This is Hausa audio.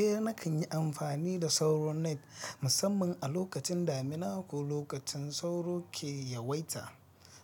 Eh nakan yi amfani da sauro net musamman a lokacin damina ko lokacin sauro ke yawaita.